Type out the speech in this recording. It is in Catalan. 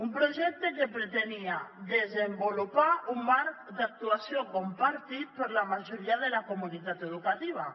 un projecte que pretenia desenvolupar un marc d’actuació compartit per la majoria de la comunitat educativa